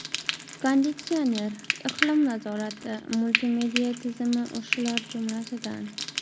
Konditsioner, iqlim nazorati, multimedia tizimi shular jumlasidan.